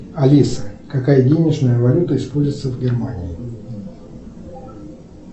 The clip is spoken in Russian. алиса какая денежная валюта используется в германии